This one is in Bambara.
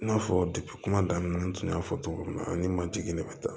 I n'a fɔ kuma daminɛ na n tun y'a fɔ cogo min na ani matigi de bɛ taa